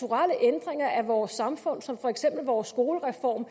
at vores samfund som for eksempel vores skolereform